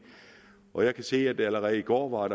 og jeg kan se at der allerede i går var